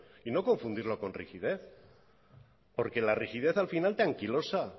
y no confundirlo con rigidez porque la rigidez al final te anquilosa